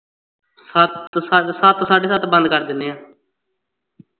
ਸੱਤ, ਸੱਤ ਸਾਢੇ ਸੱਤ ਬੰਦ ਕਰ ਦਿੰਦੇ ਆਂ